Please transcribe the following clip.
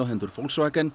hendur